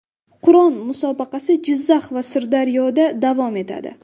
Qur’on musobaqasi Jizzax va Sirdaryoda davom etadi.